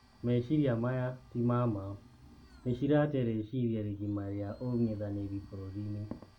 Meshiria maya tima maa, nishiratee reshiria rigima ria ung'ethaniri bururiini.